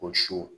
O su